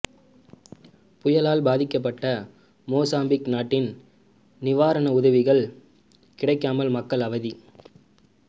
புயலால் பாதிக்கப்பட்ட மொசாம்பிக் நாட்டில் நிவாரண உதவிகள் கிடைக்காமல் மக்கள் அவதி